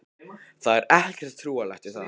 Það er ekkert trúarlegt við það.